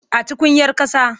A tukuyar ƙasa.